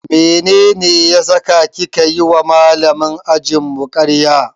Mene ya saka kika yiwa Malamin ajinmu karya?